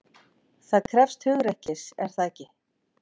Það krefst hugrekkis, er það ekki?